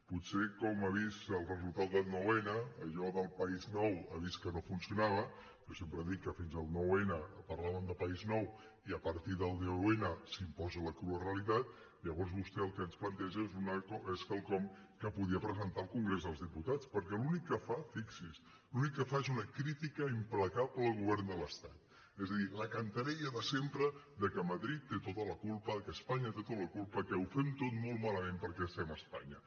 potser com ha vist el resultat del nou·n allò del país nou ha vist que no funcionava jo sempre dic que fins el nou·n parla·ven de país nou i a partir del deu·n s’imposa la crua realitat llavors vostè el que ens planteja és quelcom que podria presentar al congrés dels diputats perquè l’únic que fa fixi’s l’únic que fa és una crítica impla·cable al govern de l’estat és a dir la cantarella de sempre que madrid té tota la culpa que espanya té tota la culpa que ho fem tot molt malament perquè es·tem a espanya